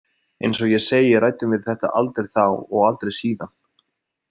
Eins og ég segi ræddum við þetta aldrei þá og aldrei síðan.